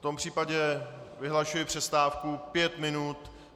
V tom případě vyhlašuji přestávku pět minut.